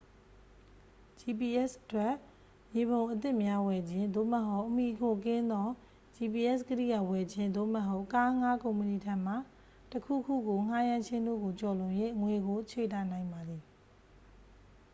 gps အတွက် မြေပုံအသစ်များဝယ်ခြင်း သို့မဟုတ် အမှီအခိုကင်းသော gps ကိရိယာဝယ်ခြင်း သို့မဟုတ် ကားအငှားကုမ္ပဏီထံမှ တစ် ခုခုကိုငှားရမ်းခြင်းတို့ကိုကျော်လွန်၍ ငွေကိုခြွေတာနိုင်ပါသည်